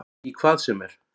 Í hvað sem er.